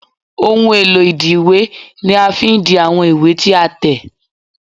Ohun èlò ìdi ìwé ni a fi n di àwọn ìwé tí a tẹ̀